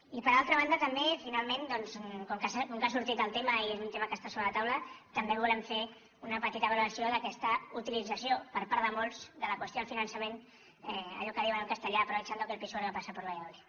i per altra banda també finalment doncs com que ha sortit el tema i és un tema que està sobre la taula també volem fer una petita valoració d’aquesta utilització per part de molts de la qüestió del finançament allò que en diuen en castellà aprovechando que el pisuerga pasa por valladolid